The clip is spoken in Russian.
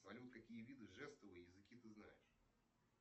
салют какие виды жестов и языки ты знаешь